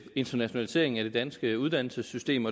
internationaliseringen af det danske uddannelsessystem